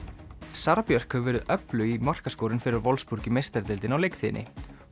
Sara Björk hefur verið öflug í markaskorun fyrir Wolfsburg í meistaradeildinni á leiktíðinni